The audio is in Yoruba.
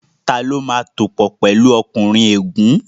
Tani ó máa tòpò pẹ̀lu ọkùnrin ègún?